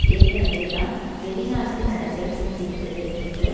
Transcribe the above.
ஏற்கனவே தான் வெளிநாட்டு நடப்பை தூண்டிவிட்டது என்று